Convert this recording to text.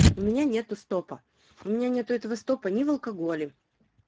у меня нету стопа у меня нету этого стопа не в алкоголе